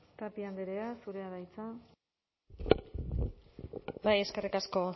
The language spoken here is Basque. tapia andrea zurea da hitza bai eskerrik asko